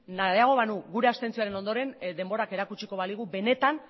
nahiago banu gure abstentzioaren ondoren denborak erakutsiko baligu benetan